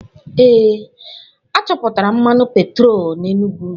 Ee, a chọpụtara mmanụ petrolum na Enugwu.